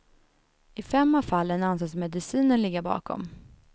I fem av fallen anses medicinen ligga bakom.